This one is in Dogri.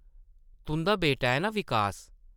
तुंʼदा बेटा ऐ नां विकास ।